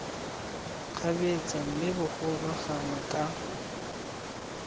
kgabetsa mme bogolo gangwe ka